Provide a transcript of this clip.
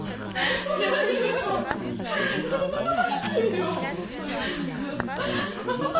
он не моя